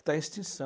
Está em extinção.